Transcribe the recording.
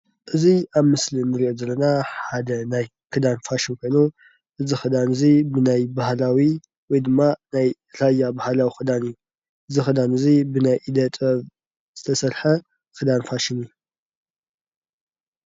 እዚ ኣብ ምስሊ እንሪኦ ዘለና ሓደ ናይ ክዳን ፋሽን ኮይኑ እዚ ክዳን እዚ ናይ ባህላዊ ወይ ድማ ናይ ራያ ባህላዊ ክዳን እዩ። እዚ ክዳን እዚ ብናይ ኢደ-ጥበብ ዝተሰረሐ ክዳን ፋሽን እዩ።